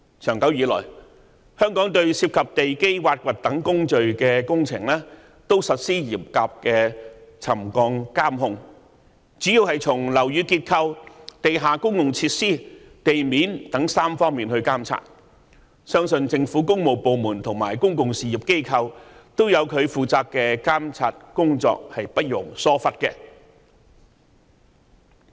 長久以來，香港對涉及地基挖掘等工序的工程也實施嚴格的沉降監控，主要是從樓宇結構、地下公用設施和地面等3方面進行監察，相信政府工務部門及公用事業機構都有各自進行監察工作，是不容疏忽的。